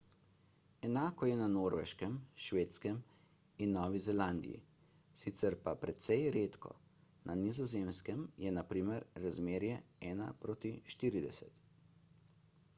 enako je na norveškem švedskem in novi zelandiji sicer pa precej redko na nizozemskem je na primer razmerje ena proti štirideset